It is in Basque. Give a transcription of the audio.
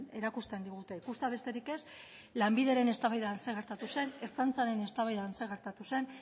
erakusten digute ikustea besterik ez lanbideren eztabaidan zer gertatu zen ertzaintzaren eztabaidan zer gertatu zen